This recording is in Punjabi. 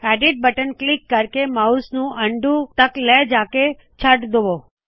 ਔਡਿਟ ਬਟਨ ਕਲਿੱਕ ਕਰਕੇ ਮਾਉਸ ਨੂ ਅਨਡੂ ਤਕ ਲੈ ਜਾਕੇ ਛੱਡ ਦਵੋ